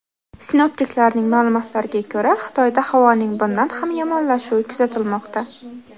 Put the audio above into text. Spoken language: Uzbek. Sinoptiklarning ma’lumotlariga ko‘ra, Xitoyda havoning bundan ham yomonlashuvi kuzatilmoqda.